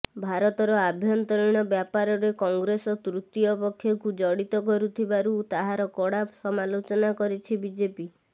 ଭାରତର ଆଭ୍ୟନ୍ତରୀଣ ବ୍ୟାପାରରେ କଂଗ୍ରେସ ତୃତୀୟ ପକ୍ଷକୁ ଜଡିତ କରୁଥିବାରୁ ତାହାର କଡା ସମାଲୋଚନା କରିଛି ବିଜେପି